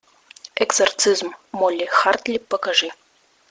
экзорцизм молли хартли покажи